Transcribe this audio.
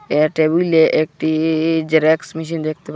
এ টেবিলে একটি xerox machine দেখতে পা--